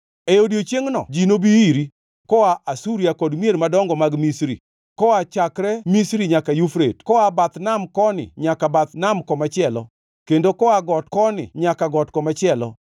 E odiechiengʼno ji nobi iri koa Asuria kod mier madongo mag Misri, koa chakre Misri nyaka Yufrate koa bath nam koni nyaka bath nam komachielo, kendo koa got koni nyaka got komachielo.